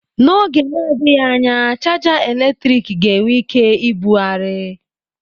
N'oge na-adịghị anya, chaja eletrik ga-enwe ike ibugharị.